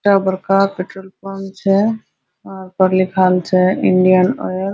बड़का-बड़का petrol pump छै ओय पे लिखल छै इंडियन आयल ।